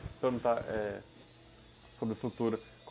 Vou perguntar, é, sobre o futuro.